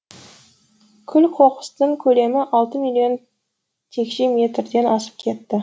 күл қоқыстың көлемі алты миллион текше метрден асып кетті